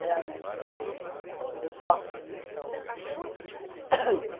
Realmente eu não tive sorte nesse sentido.